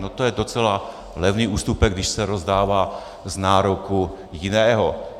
No to je docela levný ústupek, když se rozdává z nároku jiného.